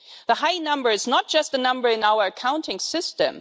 The high number is not just a number in our accounting system.